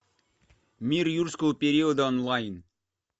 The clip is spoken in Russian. мир юрского периода онлайн